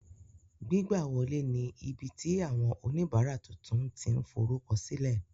Gbigbawọle ní ibiti awọn onibara tuntun ti n forukọsilẹ